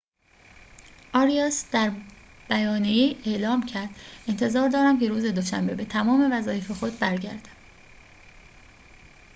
آریاس در بیانیه‌ای اعلام کرد انتظار دارم که روز دوشنبه به تمام وظایف خود برگردم